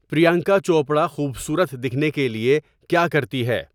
پریانکا چوپڑا خوبصورت دکھنے کے لیے کیا کرتی ہے